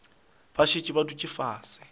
ba šetše ba dutše fase